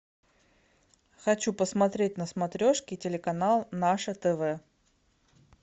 хочу посмотреть на смотрешке телеканал наше тв